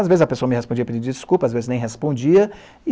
Às vezes a pessoa me respondia pedindo desculpa, às vezes nem respondia.